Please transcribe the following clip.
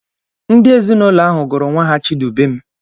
Ndị ezinaụlọ ahụ gụrụ nwa ha Chidubem.